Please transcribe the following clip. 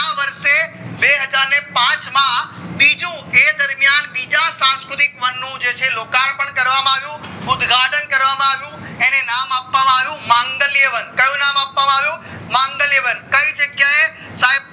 બીજું એ દરમિયાન બીજ સંસ્કૃતિક વન નું જે છે લ્કાર્પણ કરવામાં આવ્યું ઉદ્ઘાટન કરવામાં આવ્યું એને નામ આપવામાં આવ્યું માંગલ્ય વન કયું નામ આપવામાં આવ્યું માંગલ્ય વન કય જગ્યાએ સાયબ આ